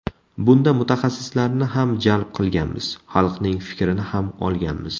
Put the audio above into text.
Bunda mutaxassislarni ham jalb qilganmiz, xalqning fikrini ham olganmiz.